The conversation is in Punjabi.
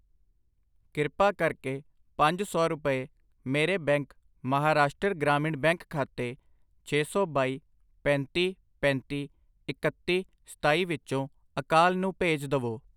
ਕ੍ਰਿਪਾ ਕਰਕੇ ਪੰਜ ਸੌ ਰੁਪਏ ਮੇਰੇ ਬੈਂਕ ਮਹਾਰਾਸ਼ਟਰ ਗ੍ਰਾਮੀਣ ਬੈਂਕ ਖਾਤੇ ਛੇ ਸੌ ਬਾਈ, ਪੈਂਤੀ, ਪੈਂਤੀ, ਇਕੱਤੀ, ਸਤਾਈ ਵਿਚੋਂ ਅਕਾਲ ਨੂੰ ਭੇਜ ਦਵੋI